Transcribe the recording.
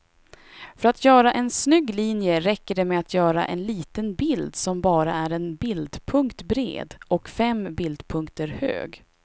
För att göra en snygg linje räcker det med att göra en liten bild som bara är en bildpunkt bred och fem bildpunkter hög.